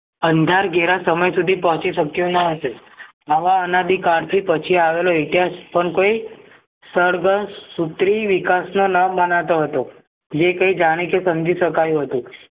અંધાર ધેરા સમય સુધી પહોંચી શક્યો ન હતું આવા અનાદિ કાલથી ઇતિહાસ પણ કોઈ સંળગ્ન સુત્રી વિકાસના નામ મનાતો હતો જે કઈ જાણીકે સમજી શકાયો હતું